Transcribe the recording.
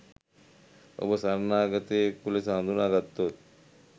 ඔබ සරණාගතයෙකු ලෙස හඳුනාගත්තොත්